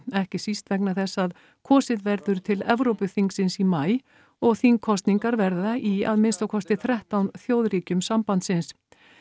ekki síst vegna þess að kosið verður til Evrópuþingsins í maí og þingkosningar verða í að minnsta kosti þrettán þjóðríkjum sambandsins